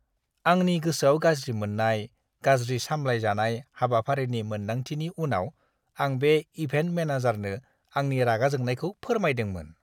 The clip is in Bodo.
आंनि गोसोआव गाज्रि मोननाय, गाज्रि सामलायजानाय हाबाफारिनि मोनदांथिनि उनाव आं बे इभेन्ट मेनेजारनो आंनि रागा जोंनायखौ फोरमायदोंमोन!